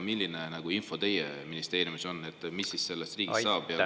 Milline info teie ministeeriumis on, et mis siis sellest riigist saab?